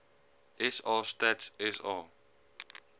sa stats sa